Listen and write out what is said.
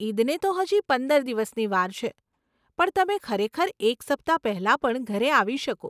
ઇદને તો હજી પંદર દિવસની વાર છે, પણ તમે ખરેખર એક સપ્તાહ પહેલાં પણ ઘરે આવી શકો.